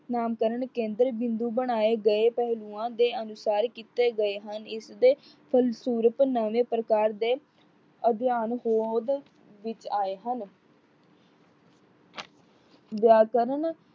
ਨਾਮਕਰਨ ਕੇਦਰ ਬਿੰਦੂ ਬਣਾਏ ਗਏ ਪਹਿਲੂਆਂ ਦੇ ਅਨੁਸਾਰ ਕੀਤੇ ਗਏ ਹਨ। ਇਸ ਦੇ ਫਲਸੂਰਪ ਨਵੇਂ ਪ੍ਰਕਾਰ ਦੇ ਅਧਿਆਨ ਹੋਂਦ ਵਿੱਚ ਆਏ ਹਨ। ਵਿਆਕਰਨ